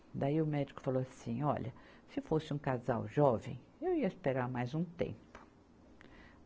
Daí o médico falou assim, olha, se fosse um casal jovem, eu ia esperar mais um tempo.